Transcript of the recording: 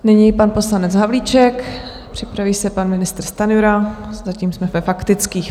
Nyní pan poslanec Havlíček, připraví se pan ministr Stanjura, zatím jsme ve faktických.